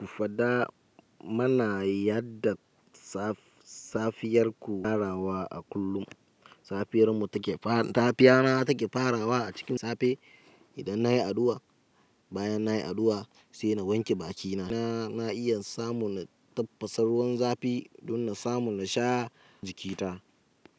Ku faɗa mana yadda safiyar ku ta farawa a kullum. Safiyar mu take fara, safiya na take farawa a cikin safe idan na yi addu'a, bayan na yi addu'a sai na wanke bakina, na iya samun na tafasa ruwan zafi don na samu na sha jikita.